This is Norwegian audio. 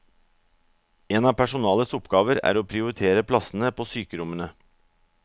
En av personalets oppgaver er å prioritere plassene på sykerommene.